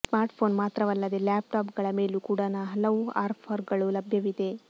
smartphone ಮಾತ್ರವಲ್ಲದೆ ಲ್ಯಾಪ್ಟಾಪ್ಗಳ ಮೇಲೂ ಕೂಡ ನ ಹಲವು ಆಫರ್ಗಳು ಲಭ್ಯವಿವೆ